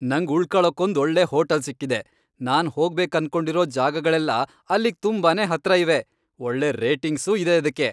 ನಂಗ್ ಉಳ್ಕೊಳಕ್ಕೊಂದ್ ಒಳ್ಳೆ ಹೋಟಲ್ ಸಿಕ್ಕಿದೆ, ನಾನ್ ಹೋಗ್ಬೇಕನ್ಕೊಂಡಿರೋ ಜಾಗಗಳೆಲ್ಲ ಅಲ್ಲಿಗ್ ತುಂಬಾನೇ ಹತ್ರ ಇವೆ, ಒಳ್ಳೆ ರೇಟಿಂಗ್ಸೂ ಇದೆ ಅದ್ಕೆ.